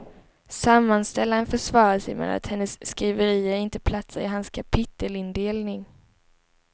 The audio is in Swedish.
Sammanställaren försvarar sig med att hennes skriverier inte platsar i hans kapitelindelning.